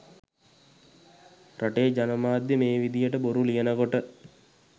රටේ ජනමාධ්‍ය මේ විදිහට බොරු ලියනකොට